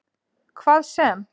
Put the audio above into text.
Hvað sem